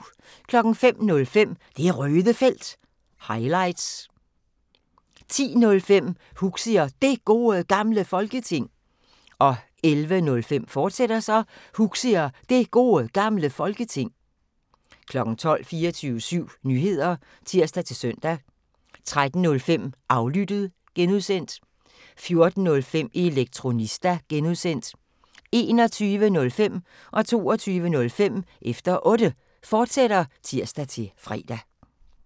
05:05: Det Røde Felt – highlights 10:05: Huxi og Det Gode Gamle Folketing 11:05: Huxi og Det Gode Gamle Folketing, fortsat 12:00: 24syv Nyheder (tir-søn) 13:05: Aflyttet (G) 14:05: Elektronista (G) 21:05: Efter Otte, fortsat (tir-fre) 22:05: Efter Otte, fortsat (tir-fre)